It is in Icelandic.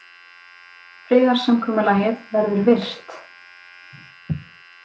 Friðarsamkomulagið verður virt